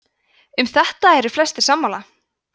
um þetta eru flestir sammála